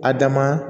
A dama